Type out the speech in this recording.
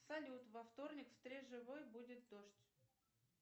салют во вторник в стрежевой будет дождь